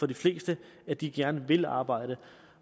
de fleste at de gerne vil arbejde